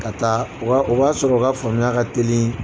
Ka taa o b'a o b'a sɔrɔ o ka faamuya ka teli